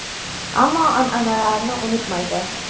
Ammo an’analarini unutmaydi.